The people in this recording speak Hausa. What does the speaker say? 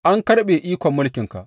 An karɓe ikon mulkinka.